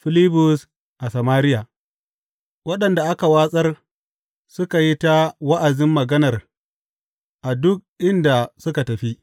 Filibus a Samariya Waɗanda aka wartsar suka yi ta wa’azin maganar a duk inda suka tafi.